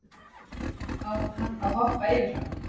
Á hann að hoppa yfir hann?